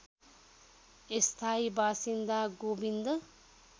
स्थायी बासिन्दा गोविन्द